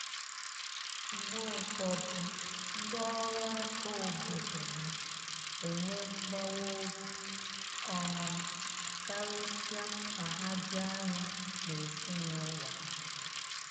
Mgbe ụfọdụ, ndị ọrụ aka obodo na enwe mgbawa obi, um karịsịa ma ha dị anya n’ezinụlọ ha.